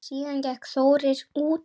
Síðan gekk Þórir út.